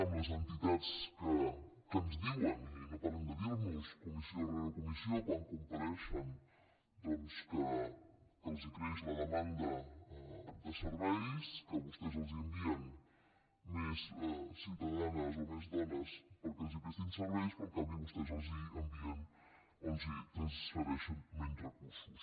en les entitats que ens diuen i no paren de dir nos comissió rere comissió quan compareixen doncs que els creix la demanda de serveis que vostès els envien més ciutadanes o més dones perquè els prestin serveis però en canvi vostès els envien o els transfereixen menys recursos